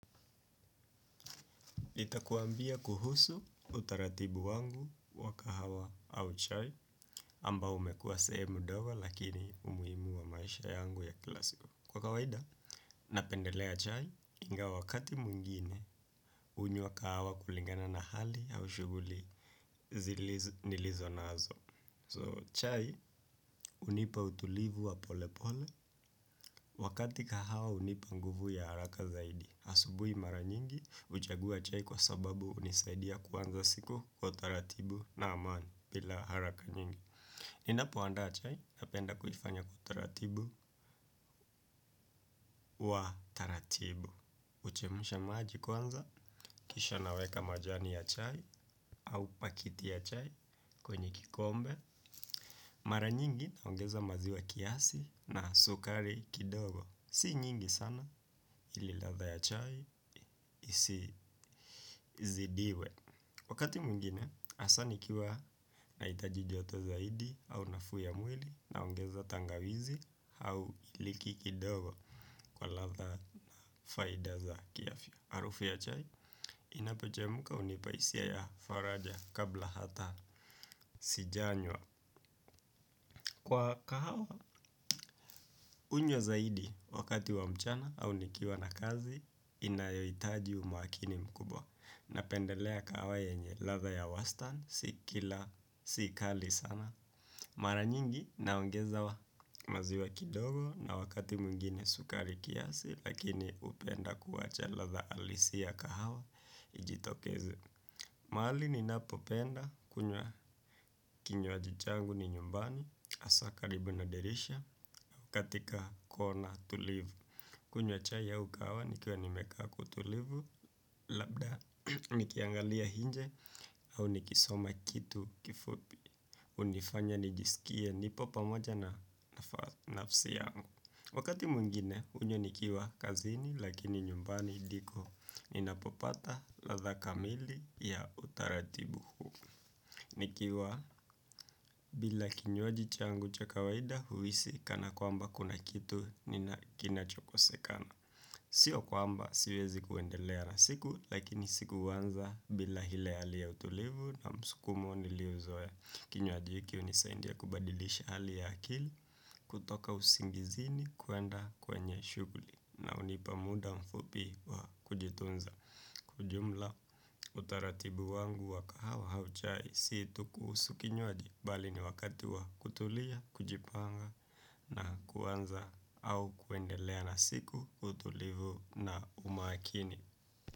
Niakuambia kuhusu utaratibu wangu wa kahawa au chai ambao umekuwa sehemu ndogo lakini imeinua maisha yangu ya kila siku. Kwa kawaida, napendelea chai ingawa wakati mwingine hunywa kahawa kulingana na hali ya shughuli nilizo nazo. So, chai hunipa utulivu wa pole pole wakati kahawa hunipa nguvu ya haraka zaidi. Asubuhi mara nyingi huchagua chai kwa sababu hunisaidia kuanza siku kwa utaratibu na amani bila haraka nyingi. Ninapo andaa chai napenda kufanya kwa utaratibu wa taratibu. Uchemusha maaji kwanza, kisha naweka majani ya chai au pakiti ya chai kwenye kikombe. Mara nyingi naongeza maziwa kiasi na sukari kidogo. Si nyingi sana ili ladha ya chai isi zidiwe. Wakati mwingine, hasa nikiwa nahitaji joto zaidi au nafuu ya mwili naongeza tangawizi au iliki kidogo kwa ladha faida za kiafya. Harufu ya chai inapochemka hunipa hisia ya faraja kabla hata sijanywa. Kwa kahawa, hunywa zaidi wakati wa mchana au nikiwa na kazi, inayohitaji umakini mkubwa. Napendelea kahawa yenye ladha ya wastan si kila si kali sana mara nyingi naongezewa maziwa kidogo na wakati mwingine sukari kiasi lakini hupenda kuwacha ladha halisia ya kahawa ijitokeze mahali ninapopenda kunywa kinyo ajuchangu ni nyumbani asakaribu na derisha katika kona tulivu kunwa chai ya ukawa nikiwa nimekaku tulivu. Labda nikiangalia hinje au nikisoma kitu kifupi. Unifanya nijisikia nipo pamoja na nafasi yangu. Wakati mungine unyo nikiwa kazini lakini nyumbani hidiko. Ninapopata latha kamili ya utaratibu huu nikiwa bila kinywaji changu cha kawaida huhisi kana kwamba kuna kitu nina kinacho kosekana. Sio kwamba siwezi kuendelea na siku. Lakini siku huanza bila ile hali ya utulivu na msukumo niliyo zoea. Kinywaji hiki hunisaidia kubadilisha halia ya akili. Kutoka usingizini kuenda kwenye shughuli na hunipa muda mfupi wa kujitunza. Kujumla utaratibu wangu wa kahawa hauchai. Si tuku usukinyoadiki bali ni wakati wa kutulia, kujipanga na kuanza au kuendelea na siku utulivu na umakini.